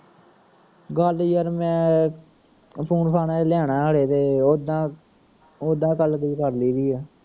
ਗੱਲ ਯਾਰ ਮੈਂ ਫੁਨ ਫਾਨ ਹਲੇ ਲਿਆਉਣਾ ਅਜੇ ਓਦਾ ਓਦਾ ਗੱਲ ਗੁੱਲ ਕਰ ਲਾਈਦੀ ਆ